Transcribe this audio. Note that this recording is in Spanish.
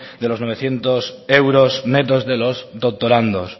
de los novecientos euros netos de los doctorandos